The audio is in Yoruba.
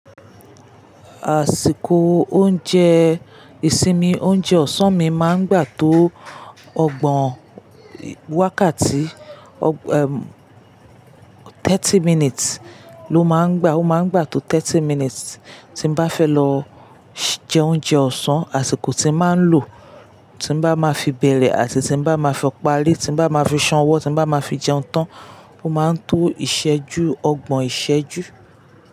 Àsìkò oúnjẹ ìsinmi, oúnjẹ ọ̀sán mi máa ń gbà tó ọgbọ̀n wákàtí, thirty minutes ló máa ń gbà. Ó máa ń gbà tó thirty minutes. Tí n bá fẹ́ lọ jẹ oúnjẹ ọ̀sán, àsìkò tí màá ń lò, tí n bá máa fi bẹ̀rẹ̀ àti tí n bá máa fi parí, tí n bá máa fi san ọwọ, tí n bá máa fi jẹun tán, ó máa ń tó ìṣẹ́jú, ọgbọ̀n ìṣẹ́jú.